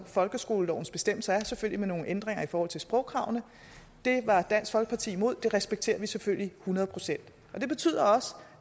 folkeskolelovens bestemmelser selvfølgelig med nogle ændringer i forhold til sprogkravene det var dansk folkeparti imod og det respekterer vi selvfølgelig hundrede procent det betyder også